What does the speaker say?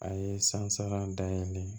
A ye san saba dayɛlɛ